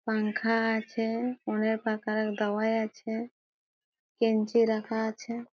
পাংখা আছে অনেক পাখা দাওয়ায় আছে বেঞ্চি রাখা আছে।